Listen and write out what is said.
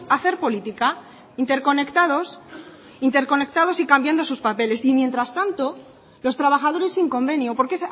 hacer política interconectados interconectados y cambiando sus papeles y mientras tanto los trabajadores sin convenio porque